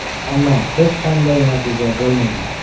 Ammo hech qanday natija bo‘lmagan.